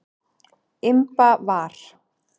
Imba var.